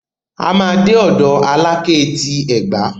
A máa dé ọ̀dọ̀ Alákẹ́ ti Ẹ̀gbá.